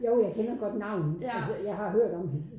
Jo jeg kender godt navnet altså jeg har hørt om hende